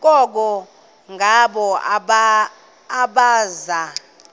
koko ngabo abaza